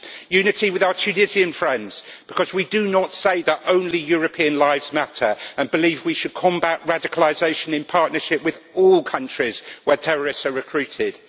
Unity with our Tunisian friends, because we do not say that only European lives matter, and we believe we should combat radicalisation in partnership with all countries where terrorists are recruited.